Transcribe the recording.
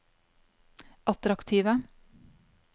attraktive